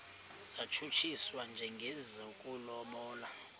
satshutshiswa njengesi sokulobola